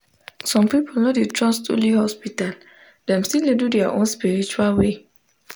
some people no dey trust only hospital dem still dey do their own spiritual way.